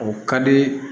O ka di